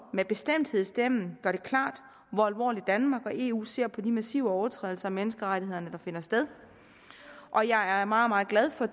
med bestemthed i stemmen gør det klart hvor alvorligt danmark og eu ser på de massive overtrædelser af menneskerettighederne der finder sted og jeg er meget meget glad for